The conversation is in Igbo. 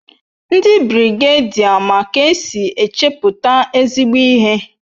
Ndi birigedia ma k'esin echeputa ezigbo ihe